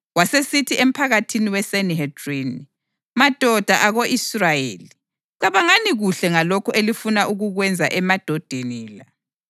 Wasesithi emphakathini weSanihedrini, “Madoda ako-Israyeli, cabangani kuhle ngalokhu elifuna ukukwenza emadodeni la.